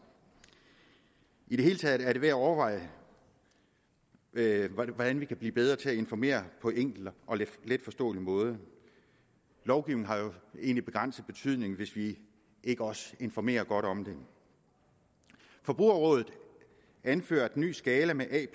i det hele taget er det værd at overveje hvordan vi kan blive bedre til at informere på en enkel og letforståelig måde lovgivningen har jo en begrænset betydning hvis vi ikke også informerer godt om den forbrugerrådet anfører at den nye skala med a